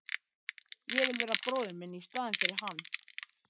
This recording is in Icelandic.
Ég vil vera bróðir minn í staðinn fyrir hann.